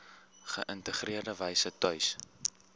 geïntegreerde wyse tuis